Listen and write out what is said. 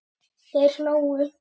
Þeir hlógu.